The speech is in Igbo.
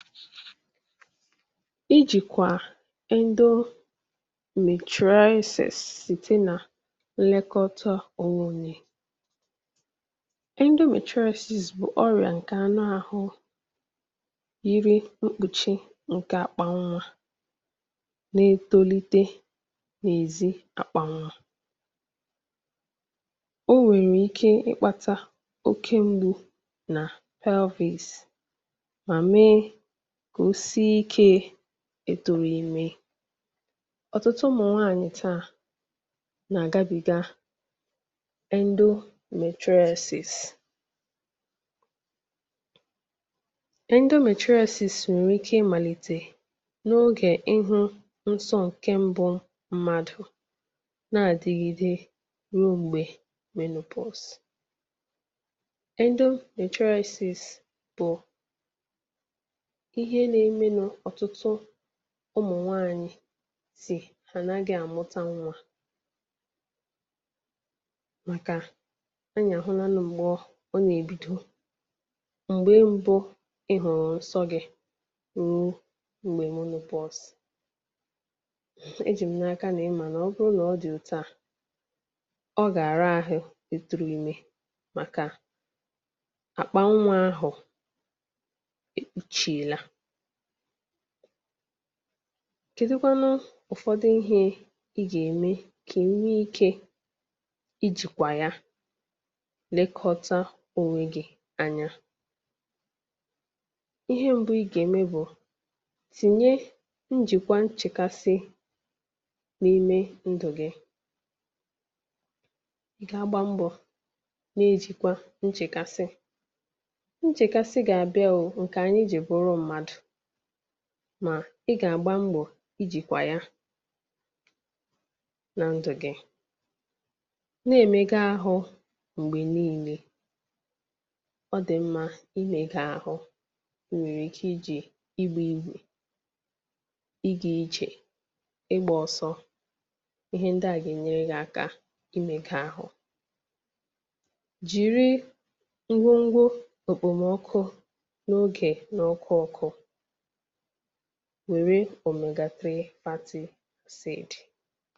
ịjị̀kwà ẹndo mètraisìs nlẹkọta ọghọm endomètraisìs bụ̀ ọrị̀à ǹkè anụ ahụ ihe na ekpùchi ǹkè àkpà nwā na-etolite n’èzi àkpà nwā o nwèrè ike ị kpata oke mgbu nà pelvìs mà mee kà o si ikē ètòmime ọ̀tụtụ ụmụ̀ nwanyị̀ tàà nà àgabiga endomètraisìs endomètraisìs nwẹ̀ ike ị màlìtè n’ogè ị hụ̄ nsọ ǹkè mbụ mmadù nà àdigide ruo m̀gbè endomètraisìs bụ̀ ihe na eme nā ọ̀tụtụ ụmụ̀ nwanyị̀ sì ànaghị àmụta nwā màkà anyị̀ àhụlanụ m̀gbè ọ..ọ nà èbido m̀gbe mbụ ị hụ̀rụ̀ nsọ gị̄ ruo m̀gbè menōpọ̀s e jị̀ m n’aka nà ị mà nà ọ bụ nà ọ dị̀ otu à ọ gà àra ahụ ị tụrụ imē àkpà nwā ahụ̀ e kpùchìela kèdukwanu ụ̀fọdụ ihē ị gà ème kà ị nwe ikē ịjị̀kwà ya nekọta onwe gị anya ihe mbụ ị gà ẹ̀mẹ bụ̄ tìnye ǹjìkwa nchèkasi n’ime ndụ̀ gị ka gba mbọ̀ na ejìkwa nchekasi nchekasi gà àbịa o..ǹkè anyị jì bụrụ mmadù mà ị gà àgba mbọ̀ ijìkwà ya na ndụ̀ gị nà èmega ahụ m̀gbè nine ọ dị mmā imēga ahụ nwèrè ike ijè ịgbā egbè ịgā ijè ịgbā ọsọ ihe ndị à gà ènyere gị aka ị meka ahụ jìri ngwongwo òkpòmọkụ n’ogè nà ọkụ ọkụ wèrè òmègà 3 fati sìd